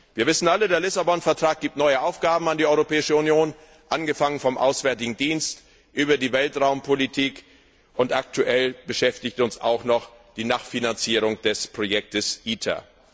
Wir wissen alle Der Lissabon Vertrag vergibt neue Aufgaben an die Europäische Union, angefangen vom Auswärtigen Dienst über die Weltraumpolitik, und aktuell beschäftigt uns auch noch die Nachfinanzierung des Projekts ITER.